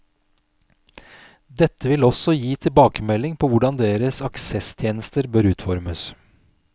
Dette vil også tilbakemelding på hvordan deres aksesstjenester bør utformes.